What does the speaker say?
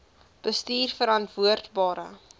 bestuurverantwoordbare